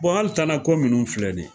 hali tana ko munnu filɛ ni ye.